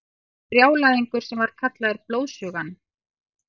Brjálæðingur sem var kallaður Blóðsugan.